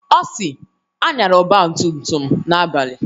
Ọ si "Anyala ọgba tum tum n'abalị"